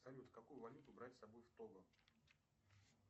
салют какую валюту брать с собой в того